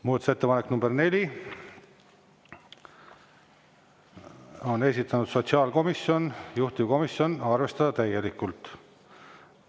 Muudatusettepaneku nr 4 on esitanud sotsiaalkomisjon, juhtivkomisjon: arvestada täielikult.